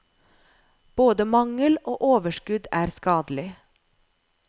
Både mangel og overskudd er skadelig.